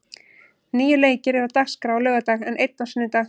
Níu leikir eru á dagskrá á laugardag, en einn á sunnudag.